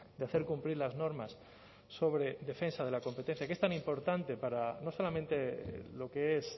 de hacer cumplir las normas sobre defensa de la competencia que es tan importante para no solamente lo que es